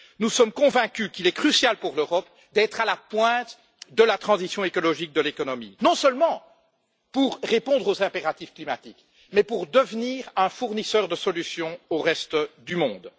Nous sommes convaincus qu'il est crucial pour l'Europe d'être à la pointe de la transition écologique de l'économie, non seulement pour répondre aux impératifs climatiques, mais pour devenir un fournisseur de solutions au reste du monde.